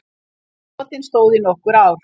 Brotin stóðu í nokkur ár